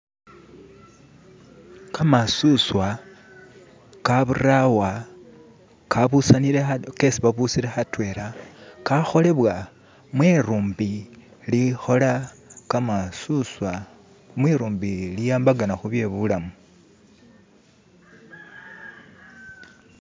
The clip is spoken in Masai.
Gamasuuswa ga buulawa gesi babusile adwena gakolebwa mwilumbi ilikola gamasuswa mwilumbi iliwambagana ku bye bulamu